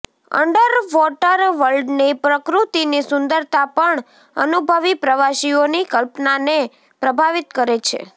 underwater વર્લ્ડની પ્રકૃતિની સુંદરતા પણ અનુભવી પ્રવાસીઓની કલ્પનાને પ્રભાવિત કરે છે